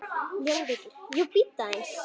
JÓN BEYKIR: Jú, bíddu aðeins!